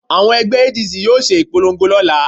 Àwọn ẹgbẹ́ ADC yóò ṣe ìpolongo lọ́la